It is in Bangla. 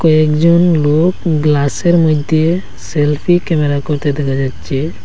কয়েকজন লোক গ্লাসের মইধ্যে সেলফি ক্যামেরা করতে দেখা যাচ্ছে।